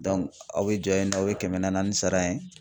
aw bɛ jɔ yennɔ aw bɛ kɛmɛ nanaani sara yen.